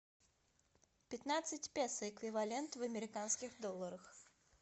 пятнадцать песо эквивалент в американских долларах